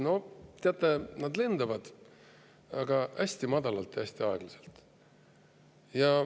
No, teate, nad lendavad, aga hästi madalalt ja hästi aeglaselt.